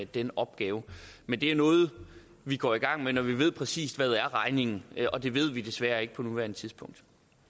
den opgave men det er noget vi går i gang med når vi ved præcis hvad regningen er og det ved vi desværre ikke på nuværende tidspunkt